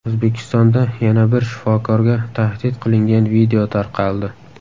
O‘zbekistonda yana bir shifokorga tahdid qilingan video tarqaldi.